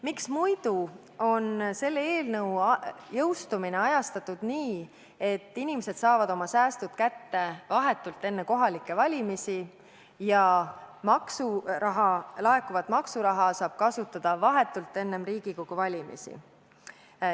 Miks muidu on selle eelnõu jõustumine ajastatud nii, et inimesed saavad oma säästud kätte vahetult enne kohalikke valimisi ja laekuvat maksuraha saab kasutada vahetult enne Riigikogu valimisi.